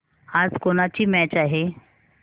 आज कोणाची मॅच आहे